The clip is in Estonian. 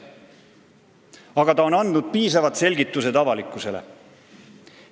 Aga ta on andnud piisavad selgitused avalikkusele.